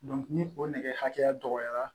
ni o nɛgɛ hakɛya dɔgɔyara